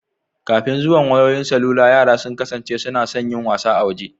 Kafin zuwan wayoyin salula yara sun kasance suna son yin wasa a waje